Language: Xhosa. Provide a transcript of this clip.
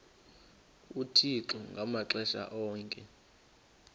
uthixo ngamaxesha onke